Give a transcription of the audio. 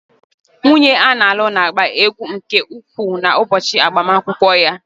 Nwunye a na-alu na-agba egwu nke ukwuu n'ụbọchị agbamakwụkwọ ya.